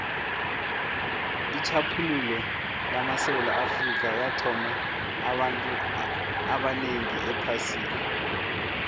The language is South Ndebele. itjhaphuluko lamasewula afrika yathabisa abantu abanengi ephasini